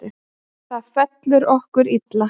Þetta fellur okkur illa.